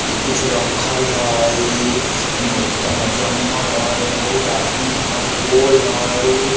ये कुछ रखल हई इने इते जंगल हई इने बहुत आदमी हई पोल हई।